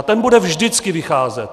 A ten bude vždycky vycházet.